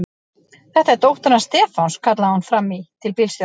Þetta er dóttir hans Stefáns! kallaði hún fram í til bílstjórans.